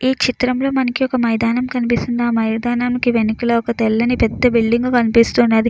ఈ చిత్రంలో మనకి ఒక మైదానం కనిపిస్తుంది. ఆ మైదానానికి వెనకలో ఒక తెల్లని పెద్ద బిల్డింగు కనిపిస్తున్నది.